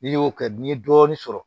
N'i y'o kɛ n'i ye dɔɔnin sɔrɔ